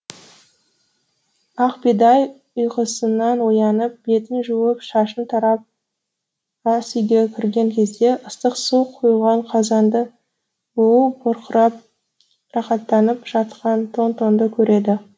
ақбидай ұйқысынан оянып бетін жуып шашын тарап асүйге кірген кезде ыстық су құйылған қазанда буы бұрқырап рақаттанып жатқан тон тонды көреді